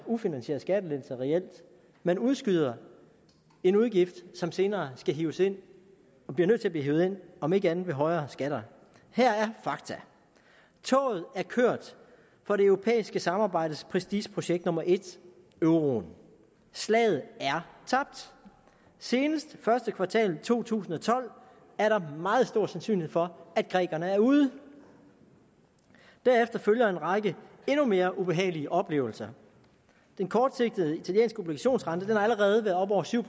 ufinansierede skattelettelser man udskyder en udgift som senere skal hives ind og bliver nødt til at blive hevet ind om ikke andet så ved højere skatter her er fakta toget er kørt for det europæiske samarbejdes prestigeprojekt nummer en euroen slaget er tabt senest første kvartal to tusind og tolv er der meget stor sandsynlighed for at grækerne er ude derefter følger en række endnu mere ubehagelige oplevelser den kortsigtede italienske obligationsrente har allerede været oppe over syv